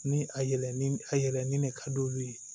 Ni a yɛlɛ ni a yɛlɛ ni ne ka d'olu ye